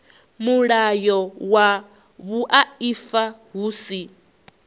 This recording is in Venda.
mulayo wa vhuaifa hu si